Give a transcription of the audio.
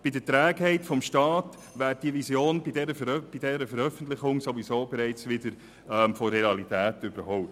Bei der Trägheit des Staats wäre die Vision bei ihrer Veröffentlichung von der Realität bereits wieder überholt.